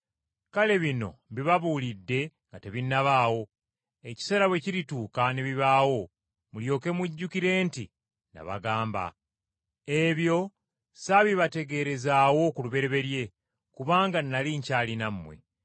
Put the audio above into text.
Kale bino mbibabuulidde nga tebinnabaawo, ekiseera bwe kirituuka ne bibaawo mulyoke mujjukire nti nabagamba. Ebyo saabibategeerezaawo ku lubereberye kubanga nnali nkyali nammwe.